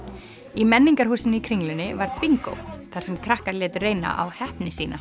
í menningarhúsinu í Kringlunni var bingó þar sem krakkar létu reyna á heppni sína